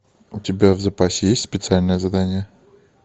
у тебя в запасе есть специальное задание